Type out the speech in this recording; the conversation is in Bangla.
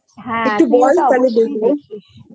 একটু বল তাহলে বলতে পারতিস??